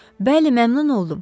Bəli, məmnun oldum.